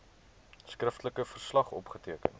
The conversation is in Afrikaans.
skriftelike verslag opgeteken